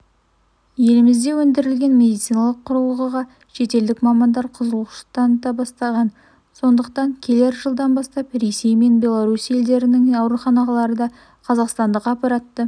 елімізде өндірілген медициналық құралғыға шетелдік мамандар қызығушылық таныта бастаған сондықтан келер жылдан бастап ресей мен беларусь елдерінің ауруханалары да қазақстандық аппаратты